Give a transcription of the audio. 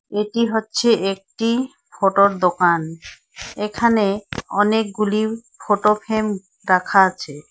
এটি হচ্ছে একটি ফটোর দোকান এখানে অনেকগুলি ফটো ফ্রেম রাখা আছে।